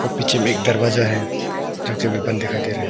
पीछे में एक दरवाजा है जो कि हमें बंद दिखाई दे रहा है।